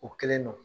O kelen don